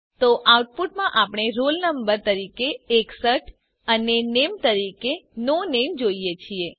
તો આઉટપુટમાં આપણે રોલ નંબર તરીકે 61 અને નામે તરીકે નો નામે જોઈએ છીએ